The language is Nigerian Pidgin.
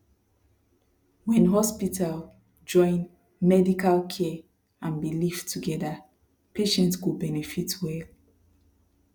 when hospital join medical care and belief together patient go benefit well